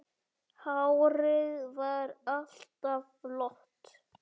Hárið var alltaf flott.